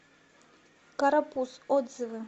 карапуз отзывы